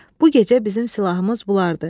Bu gecə bizim silahımız bunlardır.